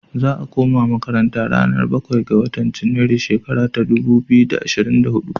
Za'a kuma makaranta ranar bakwai ga watan junairu shekara ta dubu biyu da ashirin da huɗu.